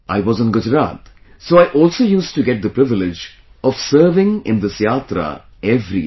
I was in Gujarat, so I also used to get the privilege of serving in this Yatra every year